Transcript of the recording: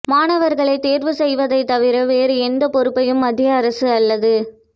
மாணவர்களை தேர்வு செய்வதைத் தவிர வேறு எந்த பொறுப்பையும் மத்திய அரசு அல்லது